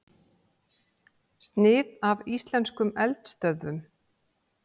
Snið af íslenskum eldstöðvum.